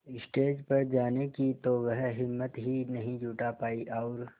stage पर जाने की तो वह हिम्मत ही नहीं जुटा पाई और